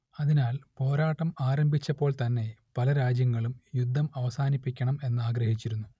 അതിനാൽ പോരാട്ടം ആരംഭിച്ചപ്പോൾ തന്നെ പല രാജ്യങ്ങളും യുദ്ധം അവസാനിപ്പിക്കണം എന്നാഗ്രഹിച്ചിരുന്നു